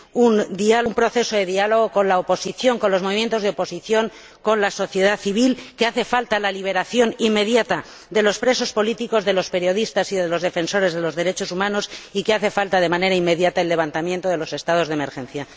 un proceso de diálogo con los movimientos de oposición, con la sociedad civil, que hace falta la liberación inmediata de los presos políticos, de los periodistas y de los defensores de los derechos humanos y que hace falta, de manera inmediata, el levantamiento de los estados de emergencia.